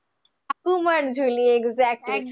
Thakurmar Jhuli,